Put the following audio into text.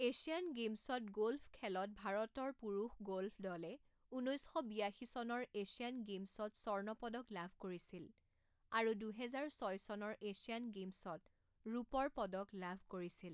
Asian গে'মছত গ'ল্ফখেলত ভাৰতৰ পুৰুষ গ'ল্ফ দলে ঊনৈছ শ বিয়াশী চনৰ এছিয়ান গেমছত স্বৰ্ণ পদক লাভ কৰিছিল আৰু দুহেজাৰ ছয় চনৰ এছিয়ান গেমছত ৰূপৰ পদক লাভ কৰিছিল।